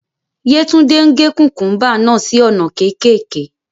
Yetunde n ge kukumba naa si awọn ona kekeke